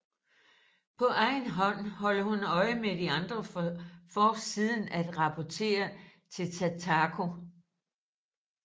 På egen hånd holder hun øje med de andre for siden at rapportere til Takako